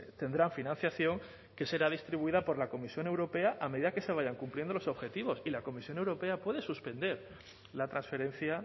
tendrán financiación que será distribuida por la comisión europea a medida que se vayan cumpliendo los objetivos y la comisión europea puede suspender la transferencia